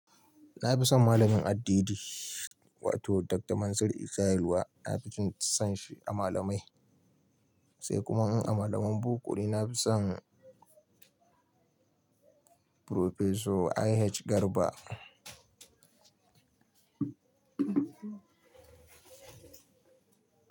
Na fi son malamin addidi wato Dr. Mansir Isah yalwa na fi son shi a malamai. Sai kuma in a malaman bokone na fi son Professor I.H Garba.